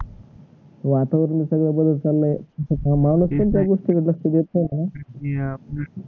वातावरण सगळ बदलत चालय म्या त्या गोष्टी कडे लक्ष्य देत नाही म्हणून